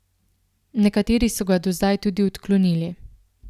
Nekateri so ga do zdaj tudi odklonili.